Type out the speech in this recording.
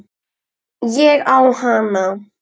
Ég á hana!